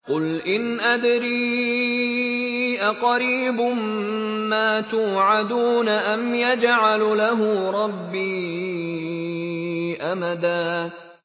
قُلْ إِنْ أَدْرِي أَقَرِيبٌ مَّا تُوعَدُونَ أَمْ يَجْعَلُ لَهُ رَبِّي أَمَدًا